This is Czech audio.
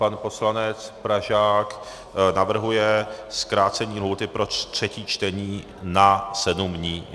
Pan poslanec Pražák navrhuje zkrácení lhůty pro třetí čtení na sedm dnů.